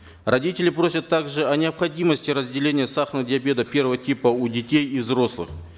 родители просят также о необходимости разделения сахарного диабета первого типа у детей и взрослых